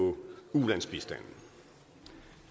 udtale sig